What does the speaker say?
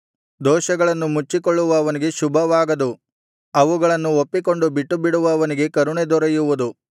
ದೋಷಗಳನ್ನು ಮುಚ್ಚಿಕೊಳ್ಳುವವನಿಗೆ ಶುಭವಾಗದು ಅವುಗಳನ್ನು ಒಪ್ಪಿಕೊಂಡು ಬಿಟ್ಟುಬಿಡುವವನಿಗೆ ಕರುಣೆ ದೊರೆಯುವುದು